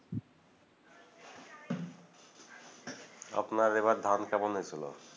আপনার এবার ধান কেমন হয়েছিল